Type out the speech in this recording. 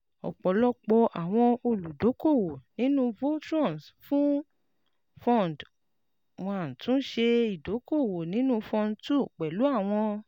Ọpọlọpọ awọn oludokoowo ninu Voltrons fún Fund one tun n ṣe idoko-owo ninu Fund two pẹlu awọn